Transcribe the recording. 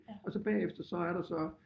Og så bagefter så er der så